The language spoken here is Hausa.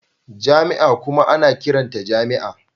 Jami'a kuma ana ƙiranta jami'a